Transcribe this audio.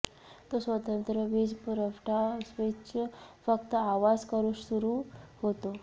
तो स्वतंत्र वीजपुरवठा स्विच फक्त आवाज करू सुरु होते